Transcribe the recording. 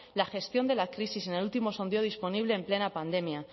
la gestión de la crisis en el último sondeo disponible en plena pandemia